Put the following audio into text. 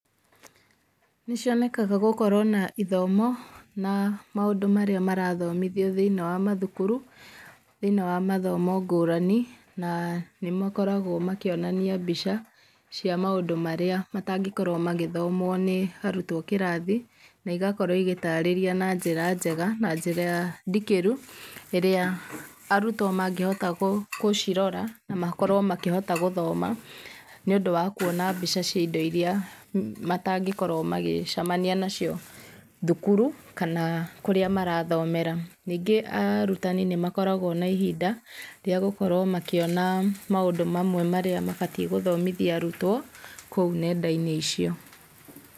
Nĩ cionekaga gũkorwa na ithomo, na maũndũ marĩa marathomithwa thĩiniĩ wa mathukuru, thĩiniĩ wa mathomo ngũrani, na nĩ makoragwo makĩonania mbica cia maũndu marĩa matakĩngorwa magĩthomwo nĩ arutwo kĩrathi na igakorwo igĩtarĩria na njĩra njega na njĩra ndikĩru ĩrĩa arutwo mangĩhota gũcirora na makorwo makĩhota gũthoma, nĩ ũndũ wa kũona mbica iria matangĩkorwo magĩcemania nacio thukuru, kana kũrĩa marathomera. Ningĩ arutani nĩ makoragwa na ihinda rĩa gũkorwo makĩona maũndũ mamwe marĩa mabatie gũthomithia arutwo kũu nenda-inĩ icio.